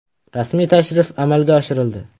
Rasmiy tashrif amalga oshirildi.